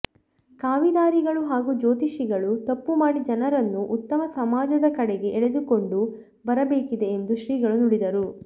ಖಾವಿದಾರಿಗಳು ಹಾಗೂ ಜ್ಯೋತಿಷಿಗಳು ತಪ್ಪು ಮಾಡಿ ಜನರನ್ನು ಉತ್ತಮ ಸಮಾಜದ ಕಡೆಗೆ ಎಳೆದುಕೊಂಡು ಬರಬೇಕಿದೆ ಎಂದು ಶ್ರೀಗಳು ನುಡಿದರು